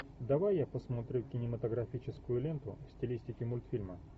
давай я посмотрю кинематографическую ленту в стилистике мультфильма